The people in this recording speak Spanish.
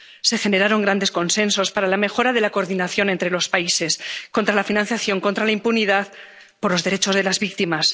Se generaron grandes consensos para la mejora de la coordinación entre los países contra la financiación, contra la impunidad, por los derechos de las víctimas